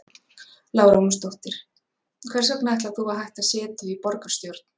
Lára Ómarsdóttir: Hvers vegna ætlar þú að hætta setu í borgarstjórn?